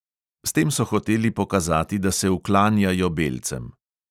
S tem so hoteli pokazati, da se uklanjajo belcem.